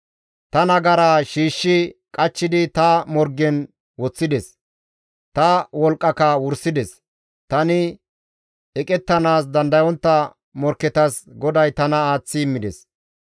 «Ta nagara shiishshi qachchidi ta morgen woththides; ta wolqqaka wursides; tani eqettanaas dandayontta morkketas GODAY tana aaththi immides.